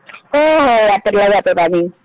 हो हो यात्रेला जातात आधी